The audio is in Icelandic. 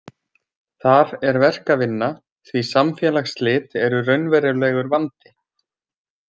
Þar er verk að vinna, því samfélagsslit eru raunverulegur vandi.